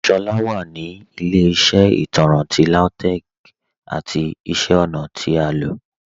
Shola wa ni ilẹ̀-iṣẹ́ itanrán ti Lautech's ati iṣẹ́ ọ̀na ti a lọ.